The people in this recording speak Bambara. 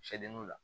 Sɛdenninw la